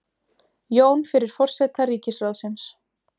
Jón fyrir forseta ríkisráðsins.